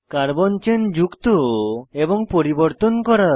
carbon chain যুক্ত এবং পরিবর্তন করা